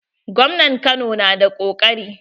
Gwamnan Kano na da ƙoƙari.